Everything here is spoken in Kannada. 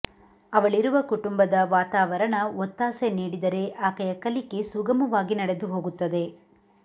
ಅವಳಿರುವ ಕುಟುಂಬದ ವಾತಾವರಣ ಒತ್ತಾಸೆ ನೀಡಿದರೆ ಆಕೆಯ ಕಲಿಕೆ ಸುಗಮವಾಗಿ ನಡೆದುಹೋಗುತ್ತದೆ